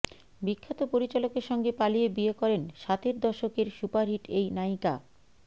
বিখ্যাত পরিচালকের সঙ্গে পালিয়ে বিয়ে করেন সাতের দশকের সুপারহিট এই নায়িকা